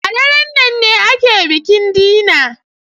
A daren nan ne ake bikin dinner.